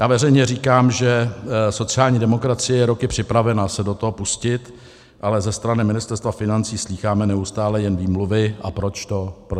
Já veřejně říkám, že sociální demokracie je roky připravena se do toho pustit, ale ze strany Ministerstva financí slýcháme neustále jen výmluvy, a proč to nejde.